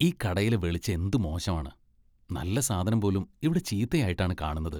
ഈ കടയിലെ വെളിച്ചം എന്ത് മോശമാണ്, നല്ല സാധനം പോലും ഇവിടെ ചീത്തയായിട്ടാണ് കാണുന്നത്.